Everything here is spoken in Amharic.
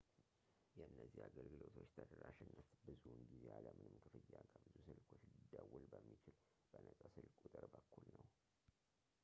የእነዚህ አገልግሎቶች ተደራሽነት ብዙውን ጊዜ ያለምንም ክፍያ ከብዙ ስልኮች ሊደውል በሚችል በነጻ ስልክ ቁጥር በኩል ነው